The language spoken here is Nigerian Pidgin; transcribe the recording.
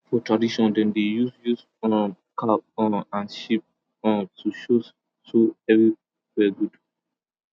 for tradition dem dey use use um cow um and sheep um to show so everywhere good